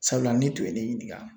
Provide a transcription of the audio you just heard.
Sabula ni tun ye ne ɲininka